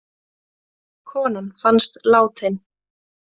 Konan fannst látin